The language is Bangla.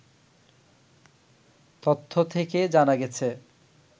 তথ্য থেকে জানা গেছে